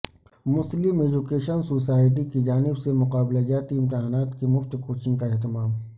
مسلم education society کی جانب سے مقابلہ جاتی امتحانات کی مفت کوچنگ کا اہتمام